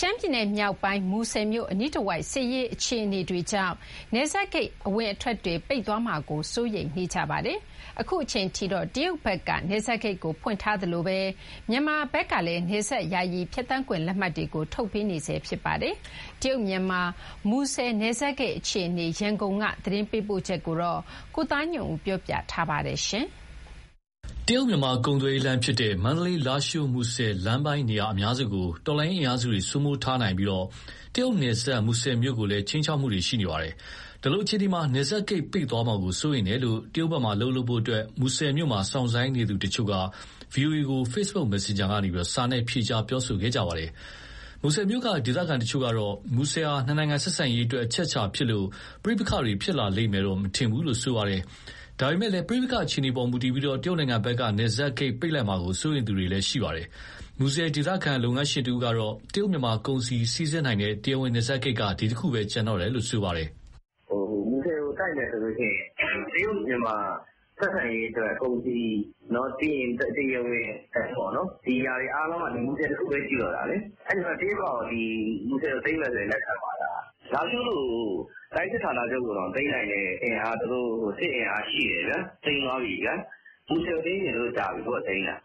ရှမ်းပြည်နယ်မြောက်ပိုင်း၊ မူဆယ်မြို့ အနီးတဝိုက် စစ်ရေးအခြေအနေတွေကြောင့် နယ်စပ်ဂိတ်အဝင်အထွက်တွေ ပိတ်သွားမှာကို စိုးရိမ်သူတွေ ရှိနေပါတယ်။ အခုအချိန်အထိတော့ တရုတ်ဖက်က နယ်စပ်ဂိတ်ကို ဖွင့်ထားသလို မြန်မာဖက်ကလည်း နယ်စပ်ယာယီ ဖြတ်သန်းခွင့် လက်မှတ် တွေကို ထုတ်ပေးနေဆဲပါ။ တရုတ်မြန်မာ မူဆယ်နယ်စပ်ဂိတ် အခြေအနေ ရန်ကုန်ဘက်က သတင်းပေးပို့ချက်ကို ကိုသားညွန့်ဦးက တင်ပြပေးထားပါတယ်။ တရုတ်-မြန်မာ ကုန်သွယ်ရေးလမ်းဖြစ်တဲ့ မန္တလေး-လားရှိုး-မူဆယ် လမ်းပိုင်းနေရာအများစုကို တော်လှန်ရေးအင်အားစုတွေ စိုးမိုးထားနိုင်ပြီး တရုတ်နယ်စပ် မူဆယ်မြို့ကိုလည်း ခြိမ်းခြောက်မှုတွေရှိနေပါတယ်။ ဒီလိုအခြေအနေမှာ နယ်စပ်ဂိတ် ပိတ်သွားမှာကို စိုးရိမ်တယ်လို့ တရုတ်ဘက်မှာ အလုပ်လုပ်ဖို့ မူဆယ်မြို့မှာ စောင့်ဆိုင်းနေသူတချို့က ဗွီအိုအေကို FB messenger ကနေ စာနဲ့ ဖြေကြားပြောဆိုခဲ့ကြပါတယ်။ မူဆယ်မြို့က ဒေသခံတချို့ကတော့ မူဆယ်ဟာ နှစ်နိုင်ငံဆက်ဆံရေးအတွက်အချက်အချာဖြစ်လို့ ပဋိပက္ခတွေ ဖြစ်လာလိမ့်မယ် မထင်ဘူးလို့ ဆိုပါတယ်။ ဒါပေမယ့် ပဋိပက္ခအခြေအနေပေါ် မူတည်ပြီး တရုတ်ဘက်က နယ်စပ်ဂိတ်ပိတ်လိုက်မှာကို စိုးရိမ်သူတွေရှိပါတယ်။ မူဆယ် ဒေသခံလုပ်ငန်းရှင်တဦးကတော့ တရုတ်-မြန်မာ ကုန်စည်စီးဆင်းနိုင်တဲ့ တရားဝင်နယ်စပ်ဂိတ်က ဒီတခုပဲ ကျန်တော့တယ်လို့ ဆိုပါတယ်။ "မူဆယ်ကိုတိုက်မယ်ဆိုရင် တရုတ်-မြန်မာ ဆက်ဆံရေးဆိုတဲ့ ကုန်စည်၊ ပြီးရင် တရားဝင်လမ်းပေါ့နော် ဒီဟာတွေအားလုံးက ဒီမူဆယ်တခုပဲ ရှိတော့တာလေ။ အဲဒီတော့ တရုတ်ကလည်း ဒီမူဆယ်ကို သိမ်းမယ်ဆိုရင် လက်ခံပါ့မလား၊ လားရှိုးလို တိုင်းစစ်ဌာနချုပ်ကိုတောင် သိမ်းနိုင်တဲ့ စစ်အင်အားသူတို့ ရှိတယ်ဗျာ၊ သိမ်းသွားပြီဗျာ၊ မူဆယ်ကိုသိမ်းချင် ကြာပြီပေါ့သူတို့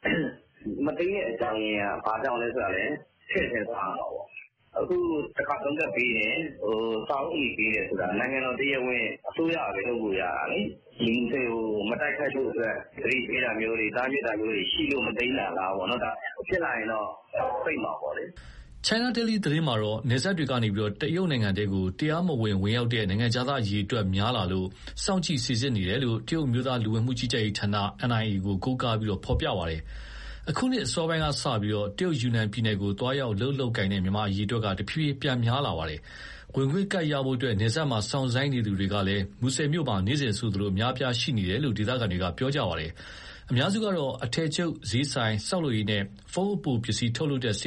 ။ မသိမ်းတဲ့ အကြောင်းရင်းကလည်း ဘာကြောင့်ဆိုတာ ထည့်စဉ်းစားရမှာပေါ့။ အခု တခါသုံးကတ်ပေးတယ်၊ စာအုပ်အနီပေးတယ်ဆိုတာ နိုင်ငံတော်တရားဝင် အစိုးရကပဲ လုပ်လို့ရတာလေ၊ ဒီမူဆယ်ကို မတိုက်ခိုက်ဖို့အတွက် သတိပေးတာမျိုးတွေ၊ တားမြစ်တာမျိုးတွေရှိလို့ မသိမ်းတာလားပေါ့နော်။ ဖြစ်လာရင်တော့ ပိတ်မှာပေါ့လေ။" China Daily သတင်းမှာတော့ နယ်စပ်တွေကနေ တရုတ်နိုင်ငံထဲ တရားမဝင် ဝင်ရောက်လာတဲ့ နိုင်ငံခြားသား အရေအတွက်များလာလို့ စောင့်ကြည့်စိစစ်နေတယ်လို့ တရုတ်အမျိုးသား လူဝင်မှုကြီးကြပ်ရေးဌာန NIA ကို ကိုးကားပြီး ဖော်ပြပါတယ်။ အခုနှစ်အစောပိုင်းကစလို့ တရုတ်ယူနန်ပြည်နယ်ကို သွားရောက် အလုပ်လုပ်ကိုင်တဲ့ မြန်မာအရေအတွက် တဖြည်းဖြည်း ပြန်များလာပါတယ်။ ဝင်ခွင့်ကတ်ရဖို့ နယ်စပ်မှာ စောင့်ဆိုင်းနေသူတွေက မူဆယ်မှာ နေ့စဉ်ဆိုသလို အများအပြား ရှိနေတယ်လို့ ဒေသခံတွေက ပြောပါတယ်။ အများစုက အထည်ချုပ်၊ စျေးဆိုင်၊ ဆောက်လုပ်ရေးနဲ့ ဖုန်းအပိုပစ္စည်း ထုတ်လုပ်တဲ့ စ